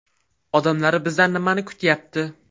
Odamlar bizdan nimani kutayapti?